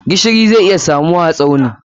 Gishiri za a iya samunta Tsauni.